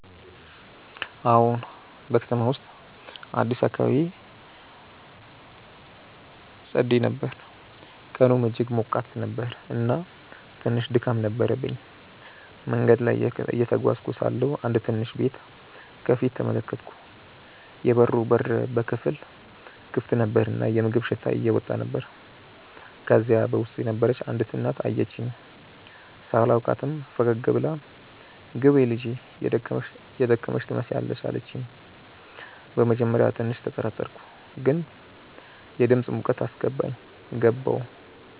አዎን፣ በከተማው ውስጥ አዲስ አካባቢ ሄዼ ነበር፣ ቀኑም እጅግ ሞቃት ነበር እና ትንሽ ድካም ነበረብኝ። መንገድ ላይ እየተጓዝኩ ሳለሁ አንድ ትንሽ ቤት ከፊት ተመለከትኩ፤ የበሩ በር በከፊል ክፍት ነበር እና የምግብ ሽታ እየወጣ ነበር። ከዚያ በውስጥ የነበረች አንዲት እናት አየችኝ። ሳላውቃትም ፈገግ ብላ “ግቢ ልጄ፣ የደከመሽ ትመስያለሽ” አለችኝ። በመጀመሪያ ትንሽ ተጠራጠርኩ፣ ግን የድምፃ ሙቀት አስገባኝ። ገባሁ።